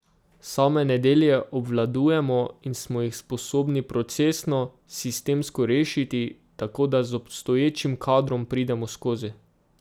Same nedelje obvladujemo in smo jih sposobni procesno, sistemsko rešiti, tako da z obstoječim kadrom pridemo skozi.